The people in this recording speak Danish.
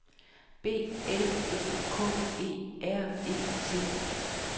B L O K E R E T